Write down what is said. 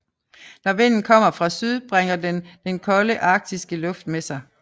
Når vinden kommer fra syd bringer den den kolde arktiske luft med sig